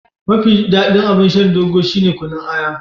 Mafi daɗin abun shan Dogo shine kunun aya.